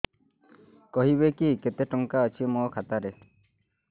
କହିବେକି କେତେ ଟଙ୍କା ଅଛି ମୋ ଖାତା ରେ